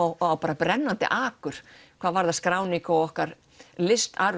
á brennandi akur hvað varðar skráningu á okkar